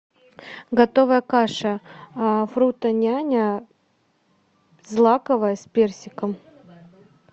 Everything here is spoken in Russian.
готовая каша фруто няня злаковая с персиком